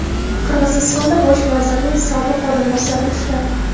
Qirg‘izistonda bosh vazirning sobiq o‘rinbosari ushlandi.